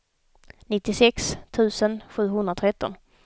nittiosex tusen sjuhundratretton